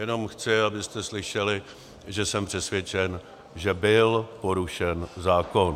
Jenom chci, abyste slyšeli, že jsem přesvědčen, že byl porušen zákon.